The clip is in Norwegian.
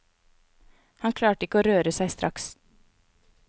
Han klarte ikke røre seg straks.